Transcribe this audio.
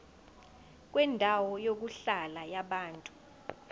kwendawo yokuhlala yabantu